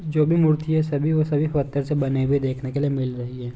जो भी मूर्ति है सभी वह सभी पत्थर से बने हुए देखने के लिए मिल रहे हैं ।